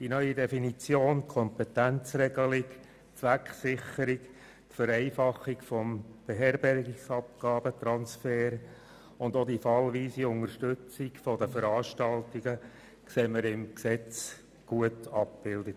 Die neue Definition, Kompetenzregelung, Zwecksicherung, die Vereinfachung des Beherbergungsabgaben-Transfers und die fallweise Unterstützung der Veranstaltungen sehen wir im Gesetz gut abgebildet.